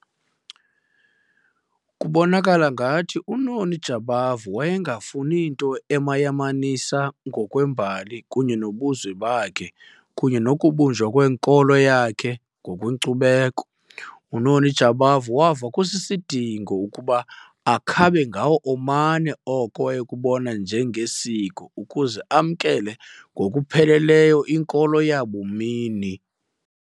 Kubonakala ngathi uNoni Jabavu wayengafuni nto emayamanisa ngokwembali kunye nobuzwe bakhe kunye nokubunjwa kwenkolo yakhe ngokwenkcubeko. UNoni Jabavu wava kusisidingo ukuba akhabe ngawo omane oko wayekubona njengesiko ukuze amkele ngokupheleleyo inkolo yabumini.